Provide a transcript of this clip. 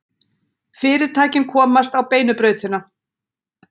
Fyrirtækin komast á beinu brautina